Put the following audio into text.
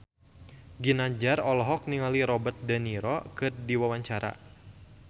Ginanjar olohok ningali Robert de Niro keur diwawancara